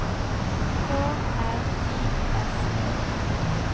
K R I S E